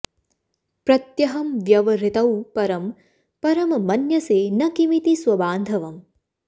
प्रत्यहं व्यवहृतौ परं परं मन्यसे न किमिति स्वबान्धवम्